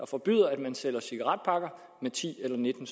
forbyde at der sælges cigaretpakker med ti eller nitten